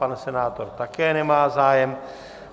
Pan senátor také nemá zájem.